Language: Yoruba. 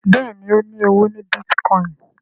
Béèni o ní ọwọ ní Bitcoin.